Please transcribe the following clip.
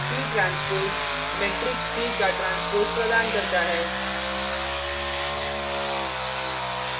p transpose matrix p का transpose प्रदान करता है